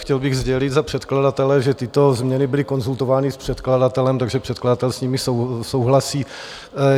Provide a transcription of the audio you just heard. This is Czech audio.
Chtěl bych sdělit za předkladatele, že tyto změny byly konzultovány s předkladatelem, takže předkladatel s nimi souhlasí.